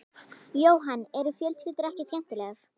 Jóhann: Eru fjölskyldur ekki skemmtilegar?